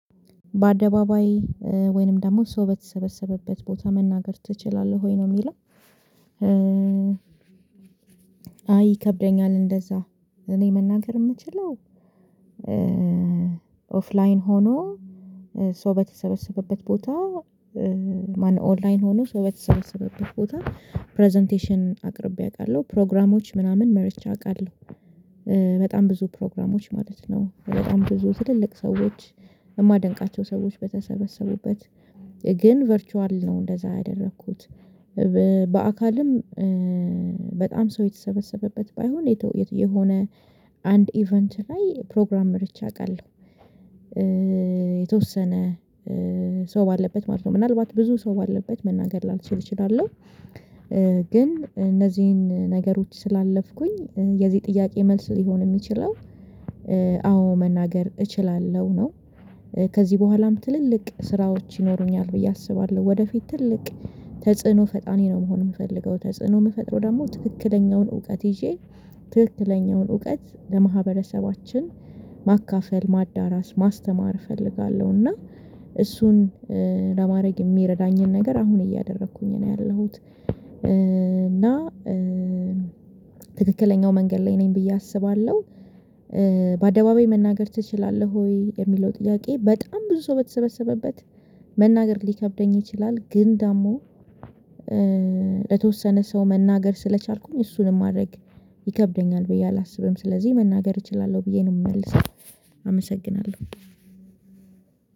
በአደባባይ ወይንም ደግሞ ሰው በተሰበሰበበት ቦታ መናገር ትችላለህ ወይ ነው የሚለው? አይ ይከብደኛል። እንደዝያ እኔ መናገር የምችለው። ኦፍላይን ሆኖ ሰው በተሰበሰበበት ቦታ ማንነው ኦንላይን ሆኖ ሰው በተሰበሰበበት ቦታ ፕረዘንቴሽን አቅርቤ አውቃለሁ ፕሮግራሞች ምናምን መርጄ አውቃለሁ። በጣም ብዙ ፕሮግራሞች ማለት ነው በጣም ብዙ ትልልቅ ሰዎች የማደንቃቸው ሰዎች በተሰበሰቡበት ግን ቨርቹዋል ነው እንደዚያ ያደረኩት። በአካልም በጣም ሰው የተሰበሰበበት ባይሆን የተወየት የሆነ አንድ ኢቨንት ላይ ፕሮግራም መርቼ አውቃለሁ። የተወሰነ ሰው ባለበት ማለት ነው ምናልባት ብዙ ሰው ባለበት መናገር ላልችል እችላለሁ። ግን እነዚህን ነገሮች ስላለፍኩኝ የዚህ ጥያቄ መልስ ሊሆን የሚችለው አዎ መናገር እችላለሁ ነው። ከዚህ በኋላም ትልልቅ ስራዎች ይኖሩኛል ብዬ አስባለሁ ወደፊት ትልቅ ተጽዕኖ ፈጣር ነው መሆን የምፈልገው ተጽዕኖ ምፈጥረው ደግሞ ትክክለኛውን እውቀት ይዤ ትክክለኛውን እውቀት ለማህበረሰባችን ማካፈል ማዳረስ ማስተማር እፈልጋለሁ። እና እሱን ለማድረግ የሚረዳኝን ነገር አሁን እያደረኩኝ ነው ያለሁት እና ትክክለኛው መንገድ ላይ ነኝ ብዬ አስባለሁ። በአደባባይ መናገር ትችላለህ ወይ የሚለው ጥያቄ በጣም ብዙ ሰው በተሰበሰበበት መናገር ሊከብደኝ ይችላል። ግን ደግሞ ለተወሰነ ሰው መናገር ስለቻልኩኝ እሱንም ማድረግ ይከብደኛል ብዬ አላስብም። ስለዚህ መናገር እችላለሁ ብዬ ነው የምመልሰው። አመሰግናለሁ።